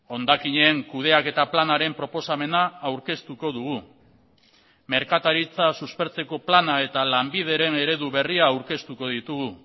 hondakinen kudeaketa planaren proposamena aurkeztuko dugu merkataritza suspertzeko plana eta lanbideren eredu berria aurkeztuko ditugu